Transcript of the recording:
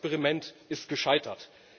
Das Experiment ist gescheitert.